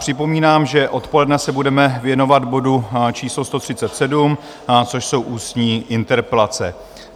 Připomínám, že odpoledne se budeme věnovat bodu číslo 137, což jsou ústní interpelace.